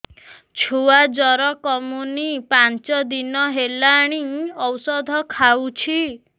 ଛୁଆ ଜର କମୁନି ପାଞ୍ଚ ଦିନ ହେଲାଣି ଔଷଧ ଖାଉଛି